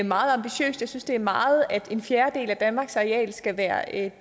meget ambitiøst jeg synes det er meget at en fjerdedel af danmarks areal skal være